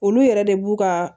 Olu yɛrɛ de b'u ka